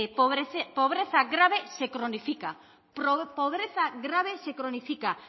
pobreza grave se cronifica